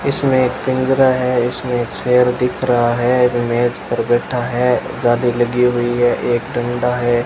इसमें पिंजरा है इसमें एक शेर दिख रहा है मेज पर बैठा है जाली लगी हुई है एक डंडा है।